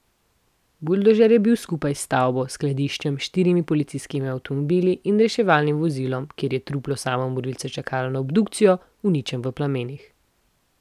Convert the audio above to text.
Buldožer je bil skupaj s stavbo, skladiščem, štirimi policijskimi avtomobili in reševalnim vozilom, kjer je truplo samomorilca čakalo na obdukcijo, uničen v plamenih.